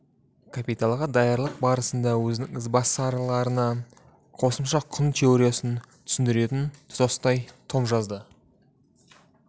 капиталға даярлық барысында өзінің ізбасарларына қосымша құн теориясын түсіндіретін тұтастай том жазды